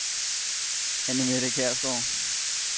Anne-Mette Kjærsgaard